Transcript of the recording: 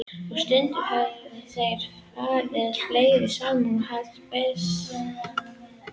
Og stundum höfðu þeir farið fleiri saman og haft byssu.